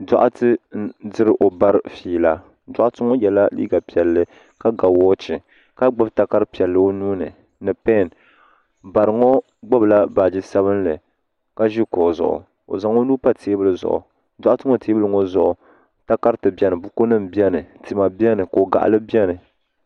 Doɣate n diri o bara fiila doɣate ŋɔ yela liiga piɛlli ka ga woochi ka gbibi takara piɛlli o nuuni ni pen bariŋɔ gbibila baaji sabinli ka ʒi kuɣu zuɣu o zaŋ o nuu pa teebuli zuɣu doɣate ŋɔ teebuli zuɣu takarti biɛni bukunima biɛni tima biɛni kogaɣali biɛni.